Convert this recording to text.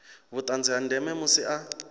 vhuṱanzi ha ndeme musi a